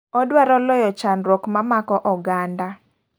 Odwaro loyo chandruok ma mako oganda.